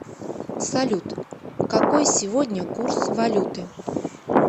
салют какой сегодня курс валюты